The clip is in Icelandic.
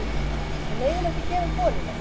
Við megum ekki gefa upp vonina